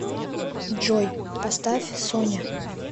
джой поставь соня